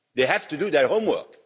They have to do their homework.